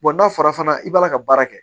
n'a fɔra fana i b'a la ka baara kɛ